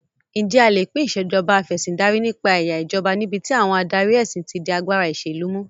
Ǹjẹ́ a lè pín Ìṣèjọba Af'ẹ̀sìndarí nípa ẹ̀yà ìjọba níbi tí àwọn adarí ẹ̀sìn ti di agbára ìṣèlú mú?